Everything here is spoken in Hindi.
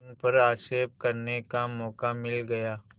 उन पर आक्षेप करने का मौका मिल गया